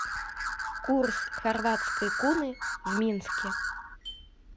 курс хорватской куны в минске